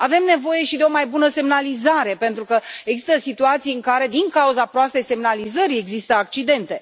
Avem nevoie și de o mai bună semnalizare pentru că există situații în care, din cauza proastei semnalizări există accidente.